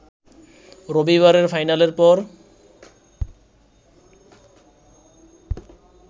রবিবারের ফাইনালের পর